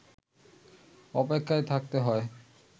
অপেক্ষায় থাকতে হয়